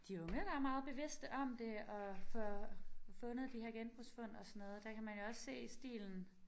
De unge der er meget bevidste om det og får fundet de her genbrugsfund og sådan noget der kan man jo også se stilen